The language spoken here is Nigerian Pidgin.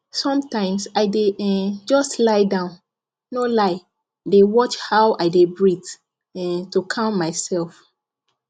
sometimes i dey um just lie down no lie dey watch how i dey breathe um to calm myself